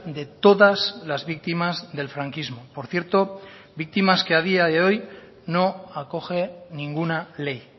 de todas las víctimas del franquismo por cierto víctimas que a día de hoy no acoge ninguna ley